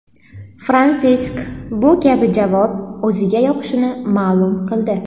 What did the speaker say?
Fransisk bu kabi javob o‘ziga yoqishini ma’lum qildi.